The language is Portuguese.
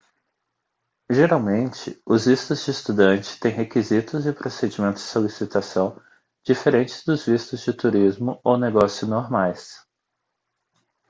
geralmente os vistos de estudante têm requisitos e procedimentos de solicitação diferentes dos vistos de turismo ou negócio normais